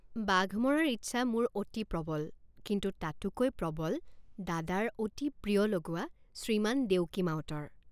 বাঘ মৰাৰ ইচ্ছা মোৰ অতি প্ৰবল কিন্তু তাতোকৈ প্ৰবল দাদাৰ অতি প্ৰিয় লগুৱা শ্ৰীমান দেউকী মাউতৰ।